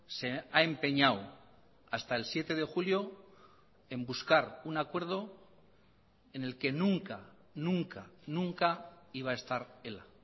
se ha empeñado hasta el siete de julio en buscar un acuerdo en el que nunca nunca nunca iba a estar ela